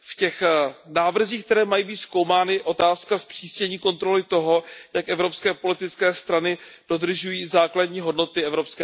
V těch návrzích, které mají být zkoumány, je otázka zpřísnění kontroly toho, jak evropské politické strany dodržují základní hodnoty EU.